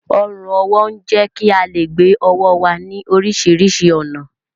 Ọrùn ọwọ́ ń jẹ́ kí á lè gbé ọwọ́ wa ní oríṣiríṣi ọ̀nà